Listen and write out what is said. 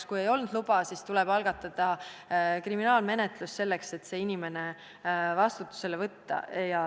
Ja kui ei olnud luba, siis tuleb algatada kriminaalmenetlus, et süüdlane vastutusele võtta.